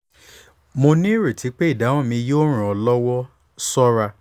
mo nireti pe idahun mi yoo ran ọ lọwọ ṣọra